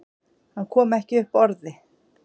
Hann kom ekki upp orði.